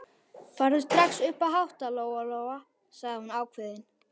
Farðu strax upp að hátta, Lóa-Lóa, sagði hún ákveðin.